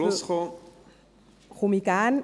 – Komme ich gerne.